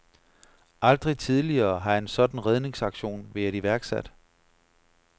Aldrig tidligere har en sådan redningsaktion været iværksat.